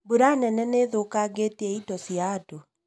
Mbura nene nĩithũkangĩtie indo cia andũ